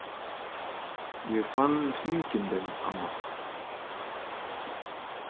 Ég fann hringinn þinn, amma.